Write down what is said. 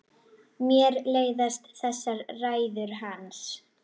Mér leiðast þessar ræður hans.